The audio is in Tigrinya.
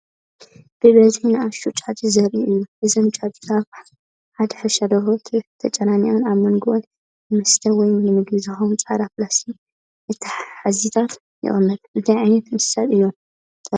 ብብዝሒ ንኣሽቱ ጫጩት ዘርኢ እዩ። እዘን ጫጩት ኣብ ሓደ ሕርሻ ደርሆ ተጨናኒቐን ኣብ መንጎአን ንመስተ ወይ ንመግቢ ዝኸውን ጻዕዳ ፕላስቲክ መትሓዚታት ይቕመጥ። እንታይ ዓይነት እንስሳታት እዮም ተራእዮም?